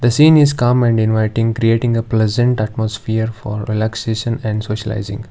scene is calm and inviting creating a pleasant atmosphere for relaxation and socializing.